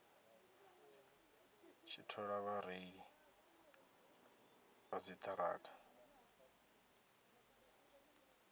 tshi thola vhareili vha dziṱhirakha